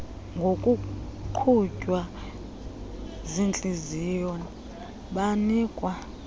ngokuqhutywa ziintliziyo banikwa